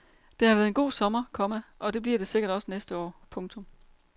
Det har været en god sommer, komma og det bliver det sikkert også næste år. punktum